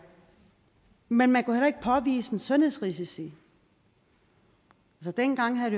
men man kunne heller ikke påvise sundhedsrisici dengang havde